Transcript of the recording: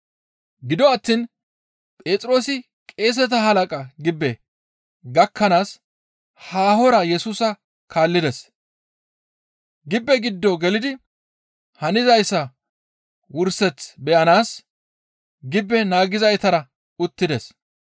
Gido attiin Phexroosi qeeseta halaqa gibbe gakkanaas haahora Yesusa kaallides. Gibbe giddo gelidi hanizayssa wurseth beyanaas, gibbe naagizaytara uttides.